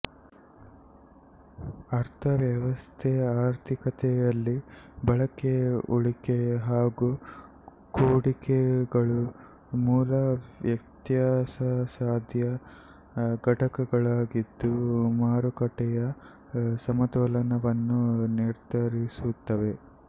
ಅರ್ಥ ವ್ಯವಸ್ಥೆಆರ್ಥಿಕತೆಯಲ್ಲಿ ಬಳಕೆ ಉಳಿಕೆ ಹಾಗೂ ಹೂಡಿಕೆಗಳು ಮೂಲ ವ್ಯತ್ಯಾಸಸಾಧ್ಯ ಘಟಕಗಳಾಗಿದ್ದು ಮಾರುಕಟ್ಟೆಯ ಸಮತೋಲನವನ್ನು ನಿರ್ಧರಿಸುತ್ತವೆ